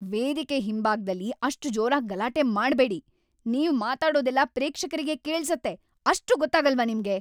ವೇದಿಕೆ ಹಿಂಭಾಗ್ದಲ್ಲಿ ಅಷ್ಟ್‌ ಜೋರಾಗ್‌ ಗಲಾಟೆ ಮಾಡ್ಬೇಡಿ. ನೀವ್ ಮಾತಾಡೋದೆಲ್ಲ ಪ್ರೇಕ್ಷಕರಿಗೆ ಕೇಳ್ಸತ್ತೆ. ಅಷ್ಟೂ ಗೊತ್ತಾಗಲ್ವಾ ನಿಮ್ಗೆ!